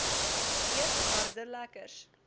eet harde lekkers